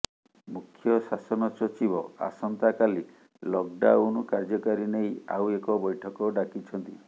ମୁଖ୍ୟ ଶାସନ ସଚିବ ଆସନ୍ତା କାଲି ଲକ୍ଡାଉନ୍ କାର୍ଯ୍ୟକାରୀ ନେଇ ଆଉ ଏକ ବୈଠକ ଡାକିଛନ୍ତି